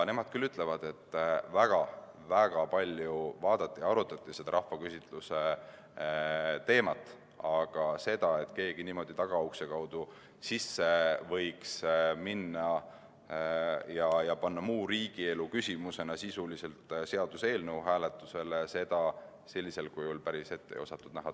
Nemad ütlevad küll, et väga-väga palju vaadati ja arutati seda rahvaküsitluse teemat, aga seda, et keegi niimoodi tagaukse kaudu sisse võiks minna ja panna muu riigielu küsimusena hääletusele seaduseelnõu, seda tõesti sellisel kujul ette ei osatud näha.